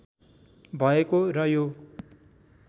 भएको र यो